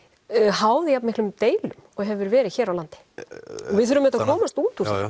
háð jafnmiklum deilum og hefur verið hér á landi og við þurfum auðvitað að komast út úr